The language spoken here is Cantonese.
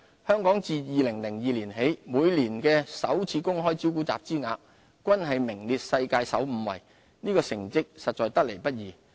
香港自2002年起每年首次公開招股集資額均名列世界首5位，這成績實在得來不易。